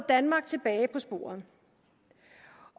danmark tilbage på sporet